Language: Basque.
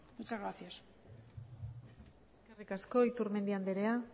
muchas gracias eskerrik asko iturmendi andrea